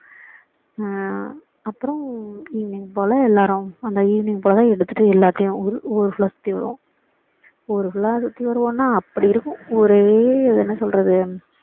அப்பறோம் evening போல எல்லாரும் அந்த evening போல எடுத்துட்டு எல்லாதையும் ஊரு ஊரு full லா சுத்தி வருவோம் ஊரு full லா சுத்தி வருவோம்னா அப்படி இருக்கும் ஊரே என்ன சொல்றது